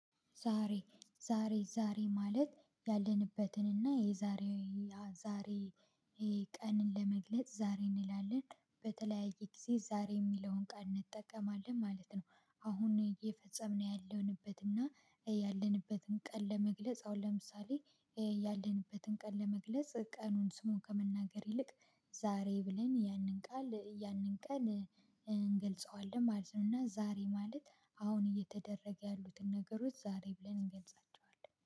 ዛሬ ዛሬ ዛሬ ማለት ያለንበትን እና የዛሬ ዛሬ ቀንን ለመግለጽ ዛሬ እንላለን በተለያየ ጊዜ ዛሬ እሚለውን ቀን እንጠቀማለን ማለት ነው። አሁን እየፈጸምን ያለንበትና ያለንበትን ቀን ለመግለጽ አሁን ለምሳሌ ያለንበትን ቀን ለመግለጽ ቀኑን ስሙን ከመናገር ይልቅ ዛሬ ብለን ያንን ቃል ያንን ቃል እንገልጸዋለን ማለት ነው። እና ዛሬ ማለት አሁን እየተደረገ ያሉትን ነገሮች ዛሬ ብለን እንገልጻቸዋለን